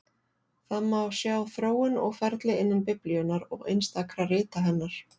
Það má sjá þróun og ferli innan Biblíunnar og einstakra rita hennar.